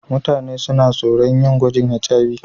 Mutane suna tsoron yin gwajin HIV.